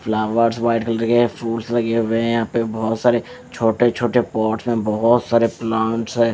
शू वगैरह है यह पे छोटे छोटे बहोत सारे बहोत सारे प्लांट्स है।